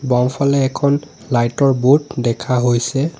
বাওঁফালে এখন লাইটৰ বোৰ্ড দেখা হৈছে।